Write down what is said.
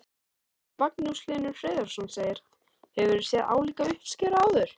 Magnús Hlynur Hreiðarsson: Hefurðu séð álíka uppskeru áður?